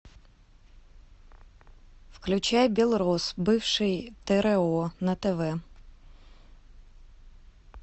включай белрос бывший тро на тв